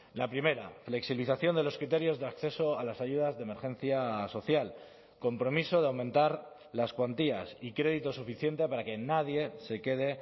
la primera flexibilización de los criterios de acceso a las ayudas de emergencia social compromiso de aumentar las cuantías y crédito suficiente para que nadie se quede